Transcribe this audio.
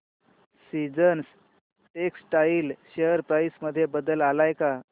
seasons textile share price मध्ये बदल आलाय का